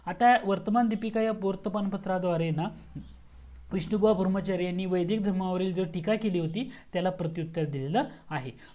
आता वर्तमान दीपिका या वर्तमान पत्राद्वारे ना विष्णु बुआ धर्माचारी यांनी वैदिक धर्मावरती ज्या टीका केली होती त्याला प्रती उत्तर दिलेला आहे